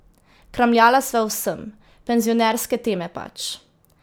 Kramljala sva o vsem, penzionerske teme, pač.